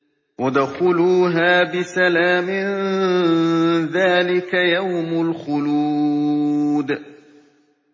ادْخُلُوهَا بِسَلَامٍ ۖ ذَٰلِكَ يَوْمُ الْخُلُودِ